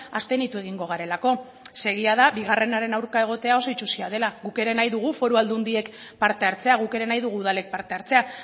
abstenitu egingo garelako zeren egia da bigarrenaren aurka egotea oso itsusia dela guk ere nahi dugu foru aldundiek parte hartzea guk ere nahi dugu udalek parte hartzea